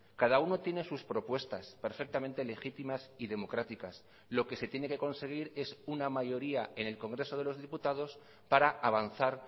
cada uno tiene sus propuestas perfectamente legítimas y democráticas lo que se tiene que conseguir es una mayoría en el congreso de los diputados para avanzar